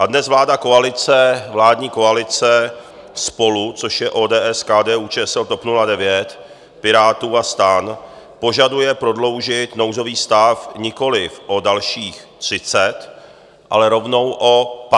A dnes vláda koalice, vládní koalice SPOLU, což je ODS, KDU-ČSL, TOP 09, Pirátů a STAN, požaduje prodloužit nouzový stav nikoliv o dalších 30, ale rovnou o 58 dnů.